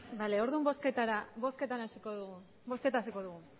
bale orduan bozketa hasiko dugu